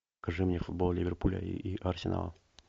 покажи мне футбол ливерпуля и арсенала